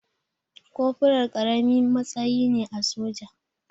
Kofural ƙaramin matsayi ne a soja.